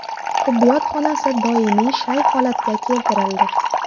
Tibbiyot xonasi doimiy shay holatga keltirildi”.